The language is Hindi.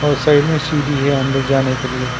और साइड में सीढ़ी है अंदर जाने के लिए।